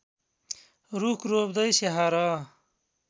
रूख रोप्दै स्याहार